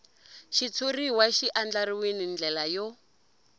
xitshuriwa xi andlariwil ndlela yo